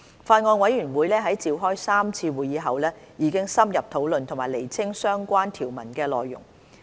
法案委員會在召開3次會議後已深入討論和釐清相關條文的內容。